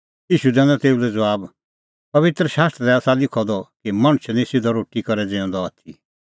ईशू दैनअ तेऊ लै ज़बाब पबित्र शास्त्रा दी आसा लिखअ द कि मणछ निं सिधअ रोटी करै ज़िऊंदअ आथी